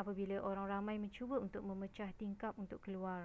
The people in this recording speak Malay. apabila orang ramai mencuba untuk memecah tingkap untuk keluar